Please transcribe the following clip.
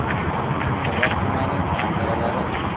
Yunusobod tumani manzaralari.